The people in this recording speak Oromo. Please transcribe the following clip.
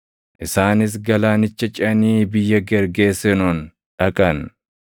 Isaanis galaanicha ceʼanii biyya Gergeesenoon dhaqan.